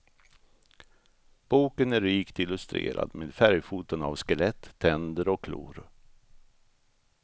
Boken är rikt illustrerad med färgfoton av skelett, tänder och klor.